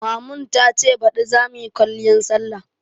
Mamun ta ce baɗi za muyi kwaliyan sallah